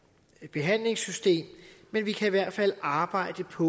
behandlingssystem men vi kan i hvert fald arbejde på